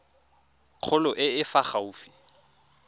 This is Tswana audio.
kgolo e e fa gaufi